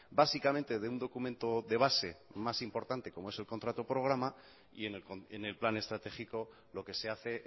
básicamente de un documento de base más importante como es el contrato programa y en el plan estratégico lo que se hace